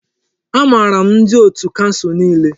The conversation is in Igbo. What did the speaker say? Amaara m ndi otù kansụl niile.